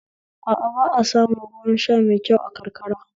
A a ba a samun ruwan sha mai kyau a karkara